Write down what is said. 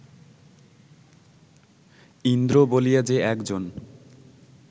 ইন্দ্র বলিয়া যে একজন